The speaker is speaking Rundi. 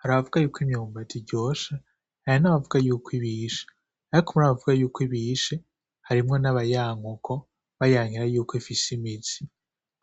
Hari abavuga yuko imyumbati iryoshe hari n'abavugako yuko ibishe. Ariko murabo bavugako ibishe harimwo nabayanka uko bayankira yuko ifise imizi,